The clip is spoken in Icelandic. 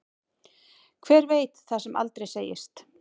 Hver veit það sem aldrei segist.